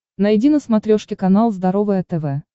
найди на смотрешке канал здоровое тв